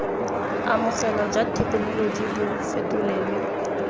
amogelwa jwa thekenoloji bo fetolelwe